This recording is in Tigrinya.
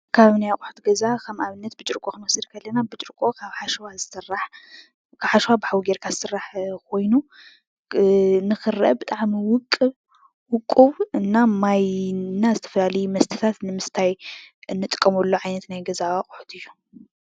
ካብ ናይ ኣቑሑት ገዛ ከም ኣብነት ብርጭቆ ክንወስድ ከለና ብርጭቆ ካብ ሓሸዋ ብሓዊ ገይርካ ዝስራሕ ኮይኑ ንክረአ ብጣዕሚ ውቁብ እና ማይ እና ዝተፈላለዮ መስተታት ንምስታይ እንጥቀመሉ ዓይነት ናይ ገዛ ኣቑሑት እዩ።